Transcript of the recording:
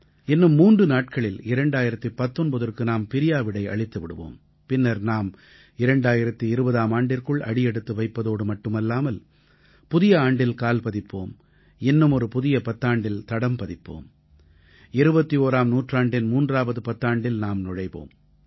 இன்னும் மூன்று நாட்களில் 2019ற்கு நாம் பிரியாவிடை அளித்து விடுவோம் பின்னர் நாம் 2020ஆம் ஆண்டிற்குள் அடியெடுத்து வைப்பதோடு மட்டுமல்லாமல் புதிய ஆண்டில் கால் பதிப்போம் இன்னுமொரு புதிய பத்தாண்டில் தடம் பதிப்போம் 21ஆம் நூற்றாண்டின் மூன்றாவது பத்தாண்டில் நாம் நுழைவோம்